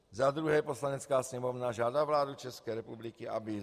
Za druhé, Poslanecká sněmovna žádá vládu České republiky, aby